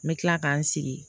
N bɛ tila k'an sigi